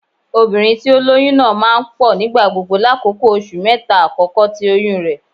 Obinrin ti o loyun naa maa n pọ nigbagbogbo lakoko oṣu mẹta akọkọ ti oyun rẹ.